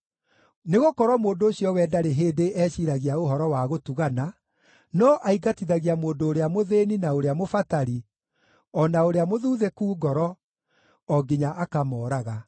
Nĩgũkorwo mũndũ ũcio we ndarĩ hĩndĩ eciiragia ũhoro wa gũtugana, no aingatithagia mũndũ ũrĩa mũthĩĩni, na ũrĩa mũbatari, o na ũrĩa mũthuthĩku ngoro, o nginya akamooraga.